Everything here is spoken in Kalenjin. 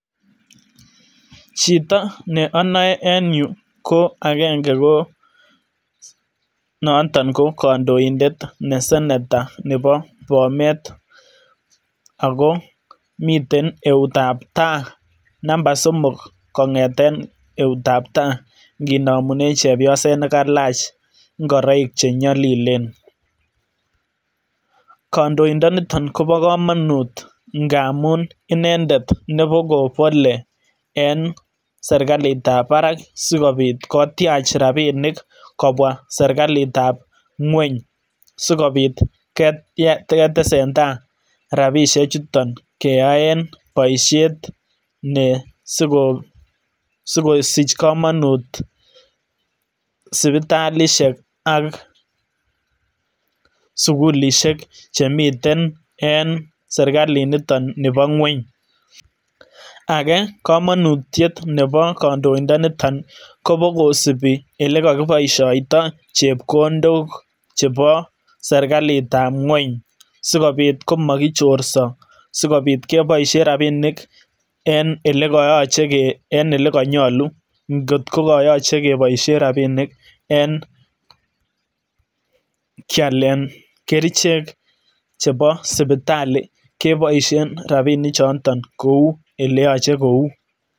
Chito ne onoe en yuu ko ko angenge ko kondondet ne senetor noton nebo Bomet ako miten eut ab taa namba somok kongeten eut ab taa nginomunen chebyoset nekalach ngoroik che nyolilen. Kondoindo niton kobo komonut ngamun inendet nebo kobolee en serikalitab barak sikopit kotyach rabinik kobwaa serikalitab kweny sikopit ketesentai rabini chuton keyoen boishet ne sikosich komonut sipitalishek ak sukulishek che miten en serikalit niton nebo kweny. Agee komonutiet nebo kondoindo niton kobo kosipii olee kokiboisoito chepkondokok chebo serikalit ab kweny sikopit komo kichorso, sikopit keboishen rabinik en ilekoyoche en ilekonyolu ngot ko koyoche keboishen rabinik en kyalen kerichek chebo sipitali keboishen rabini choton kouu ele yoce kouu